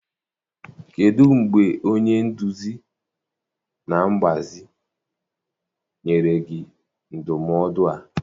Kedụ mgbe onye nduzi na mgbazi nyere gị ndụmọdụ a?